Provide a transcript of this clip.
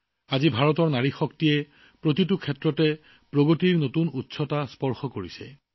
আজি ভাৰতৰ নাৰী শক্তিয়ে প্ৰতিটো ক্ষেত্ৰতে প্ৰগতিৰ নতুন উচ্চতা স্পৰ্শ কৰিছে